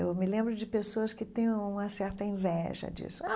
Eu me lembro de pessoas que têm uma certa inveja disso.